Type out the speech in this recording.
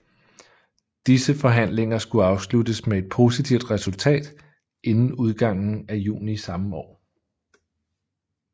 Disse forhandlinger skulle afsluttes med et positivt resultat inden udgangen af juni samme år